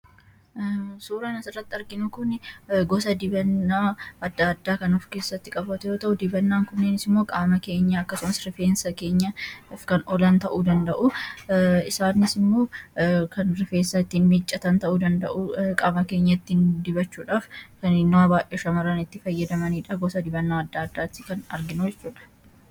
Suuraan asirratti arginu kun gosa dibannaa adda addaa kan of keessatti qabatu yoo ta’u, dibannaan kunniin immoo qaama keenya akkasumas rufeensa keenyaaf kan oolan ta'uu danda’u. Isaanis immoo kan rufeensa ittiin miiccatan ta'uu danda’u, qaama keenya ittiin dibachuudhaaf kan yeroo baay'ee shamarran fayyadamanidha. Goda dibannaa adda addaati kan arginu jechuudha.